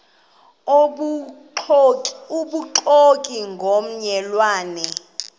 obubuxoki ngomme lwane